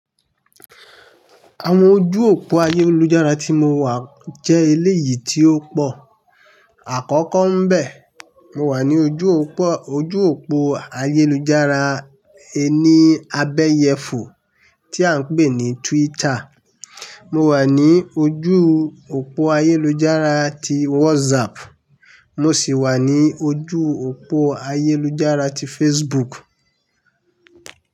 Àwọn ojú òpó ayélujára tí mo wà jẹ́ eléyìí tí ó pọ̀. Àkọ́kọ́ ń bẹ, mo wà ní ojú òpó, ojú òpó ayélujára ẹni abẹyẹfò tí à ń pè ní Twitter. Mo wà ní ojú òpó ayélujára ti WhatsApp, mo sì wà ní ojú òpó ayélujára ti Facebook.